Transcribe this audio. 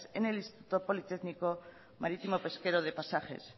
en el instituto politécnico marítimo pesquero de pasajes